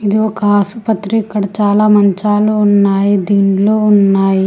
ఇది ఒక ఆసుపత్రి ఇక్కడ చాలా మంచాలు ఉన్నాయి దీండ్లు ఉన్నాయి.